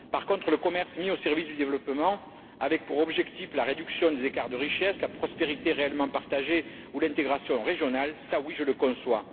Par contre, le commerce mis au service du développement avec, pour objectif, la réduction des écarts de richesse, la prospérité réellement partagée ou l'intégration régionale, oui, je le conçois.